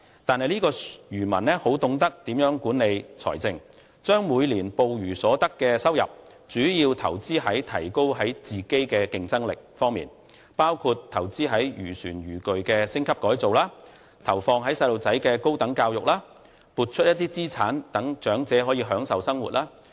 但是，這名漁民很懂得如何管理財政，將每年捕魚所得收入主要投資於提高自身的競爭力方面，包括投資於漁船漁具的升級改造，投放於孩子的高等教育，撥出部分資產讓長者可以享受生活。